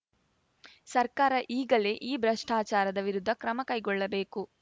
ಸರ್ಕಾರ ಈಗಲೇ ಈ ಭ್ರಷ್ಟಾಚಾರದ ವಿರುದ್ಧ ಕ್ರಮಕೈಗೊಳ್ಳಬೇಕು